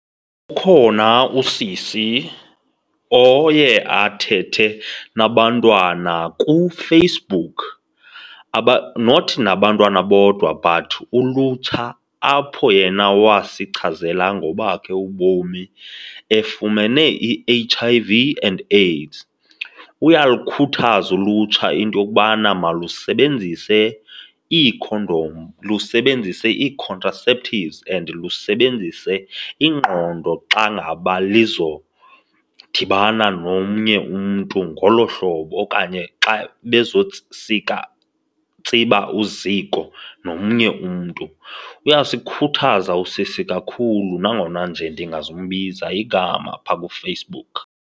Ukhona usisi oye athethe nabantwana kuFacebook, not nabantwana bodwa but ulutsha apho yena wasichazela ngobakhe ubomi efumene i-H_I_V and AIDS. Uyalukhuthaza ulutsha into yokubana malusebenzise iikhondom, lusebenzise ii-contraceptives and lusebenzise ingqondo xa ngaba lizodibana nomnye umntu ngolo hlobo okanye xa sika, tsiba uziko nomnye umntu. Uyasikhuthaza usisi kakhulu nangona nje ndingazumbiza igama phaa kuFacebook.